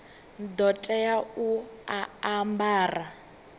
ḓo tea u a ambara